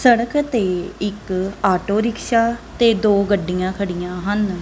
ਸੜਕ ਤੇ ਇੱਕ ਆਟੋ ਰਿਕਸ਼ਾ ਤੇ ਦੋ ਗੱਡੀਆਂ ਖੜੀਆਂ ਹਨ।